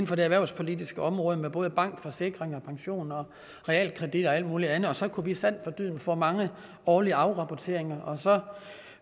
for det erhvervspolitiske område både banker forsikring pension og realkredit og alt muligt andet og så kunne vi sandt for dyden få mange årlige afrapporteringer og så